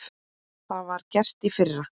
Það var gert í fyrra.